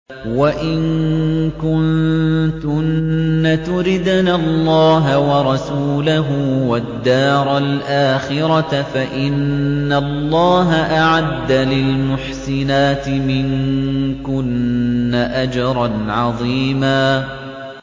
وَإِن كُنتُنَّ تُرِدْنَ اللَّهَ وَرَسُولَهُ وَالدَّارَ الْآخِرَةَ فَإِنَّ اللَّهَ أَعَدَّ لِلْمُحْسِنَاتِ مِنكُنَّ أَجْرًا عَظِيمًا